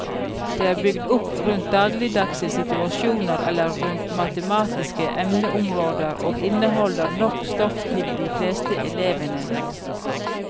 De er bygd opp rundt dagligdagse situasjoner eller rundt matematiske emneområder og inneholder nok stoff for de fleste elevene.